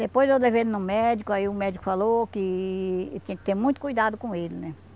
Depois eu levei ele no médico, aí o médico falou que tinha que ter muito cuidado com ele, né?